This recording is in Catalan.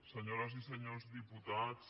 senyores i senyors diputats